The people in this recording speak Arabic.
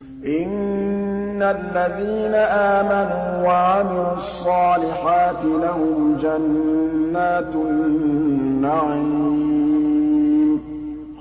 إِنَّ الَّذِينَ آمَنُوا وَعَمِلُوا الصَّالِحَاتِ لَهُمْ جَنَّاتُ النَّعِيمِ